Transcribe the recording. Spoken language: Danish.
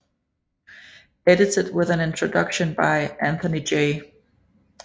Edited with an introduction by Anthony J